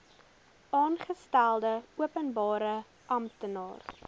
aangestelde openbare amptenaar